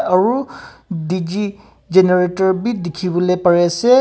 aru D_G generator b dikhi bole pare ase.